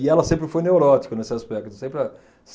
E ela sempre foi neurótica nesse aspecto, sempre a.